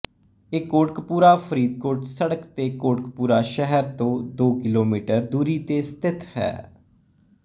ਇਹ ਕੋਟਕਪੂਰਾ ਫ਼ਰੀਦਕੋਟ ਸੜਕ ਤੇ ਕੋਟਕਪੂਰਾ ਸ਼ਹਿਰ ਤੋਂ ਦੋ ਕਿਲੋਮੀਟਰ ਦੂਰੀ ਤੇ ਸਥਿਤ ਹੈ